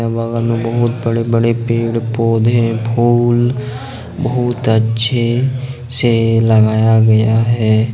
बगल में बहुत बड़े बड़े पेड़ पौधे फूल बहुत अच्छे से लगाया गया है।